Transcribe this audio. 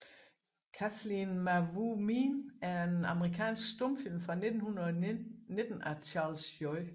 Kathleen Mavourneen er en amerikansk stumfilm fra 1919 af Charles J